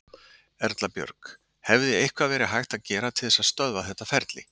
Erla Björg: Hefði eitthvað verið hægt að gera til þess að stöðva þetta ferli?